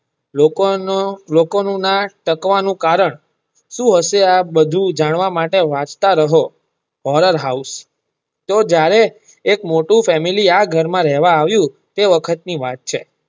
લોકો નું ના ન તાકવા નું કારણ સુ હશે આ બધું જાણવા માટે વાંચતા રહો horror house તો જ્યારે એક મોયુ ફેમિલી આ ઘર માં રહેવા આવ્યુ તે વખત ની વાત છે.